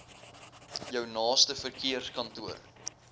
jou naaste verkeerskantoor